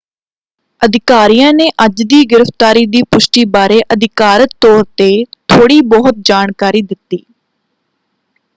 ਅਧਿਕਾਰੀਆਂ ਨੇ ਅੱਜ ਦੀ ਗ੍ਰਿਫਤਾਰੀ ਦੀ ਪੁਸ਼ਟੀ ਬਾਰੇ ਅਧਿਕਾਰਤ ਤੌਰ 'ਤੇ ਥੋੜ੍ਹੀ ਬਹੁਤ ਜਾਣਕਾਰੀ ਦਿੱਤੀ।